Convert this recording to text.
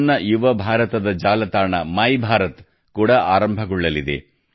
ನನ್ನ ಯುವ ಭಾರತದ ಜಾಲತಾಣ ಮೈಭಾರತ್ ಕೂಡ ಆರಂಭಗೊಳ್ಳಲಿದೆ